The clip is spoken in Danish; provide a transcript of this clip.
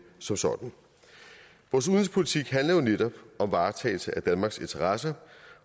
som sådan vores udenrigspolitik handler jo netop om varetagelse af danmarks interesser